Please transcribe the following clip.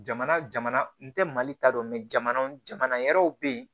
Jamana jamana n tɛ mali ta dɔn jamana wɛrɛw bɛ yen